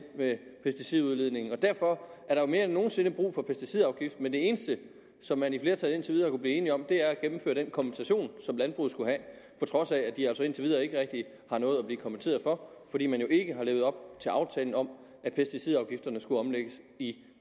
med pesticidudledningen og derfor er der jo mere end nogen sinde brug for pesticidafgiften men det eneste som man i flertallet indtil nu blive enige om er at gennemføre den kompensation som landbruget skulle have på trods af at de altså indtil videre ikke rigtig har noget at blive kompenseret for fordi man jo ikke har levet op til aftalen om at pesticidafgifterne skulle omlægges i